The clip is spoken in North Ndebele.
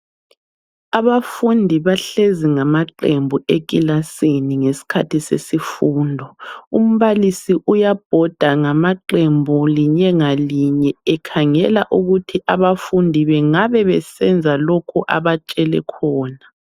Abafundi bahlezi ngamaqembu ekilasini ngesikhathi sesifundo. Umbalisi uyabhonda ngaqembu linye ngalinye ekhangela ukuthi abafundi bengabe besenza lokhu abatshele khona.